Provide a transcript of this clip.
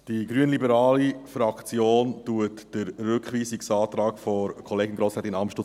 Die grünliberale Fraktion unterstützt den Rückweisungsantrag von Kollegin Grossrätin Amstutz.